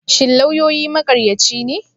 Shin lauyoyi maƙaryaci ne?